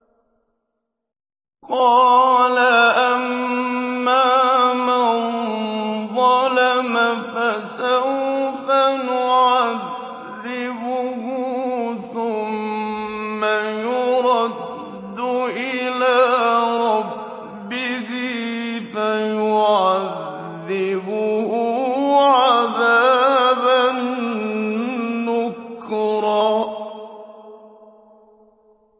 قَالَ أَمَّا مَن ظَلَمَ فَسَوْفَ نُعَذِّبُهُ ثُمَّ يُرَدُّ إِلَىٰ رَبِّهِ فَيُعَذِّبُهُ عَذَابًا نُّكْرًا